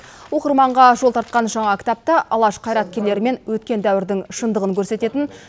оқырманға жол тартқан жаңа кітапта алаш қайраткерлері мен өткен дәуірдің шындығын көрсететін